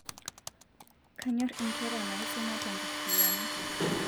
kanyorr inkera naisuma tenkariyiano